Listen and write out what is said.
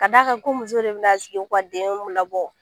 K'a d'a kan ko muso de bɛna sigi ka u denw labɔ